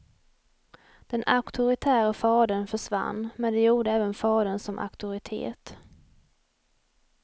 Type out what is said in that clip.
Den auktoritäre fadern försvann men det gjorde även fadern som auktoritet.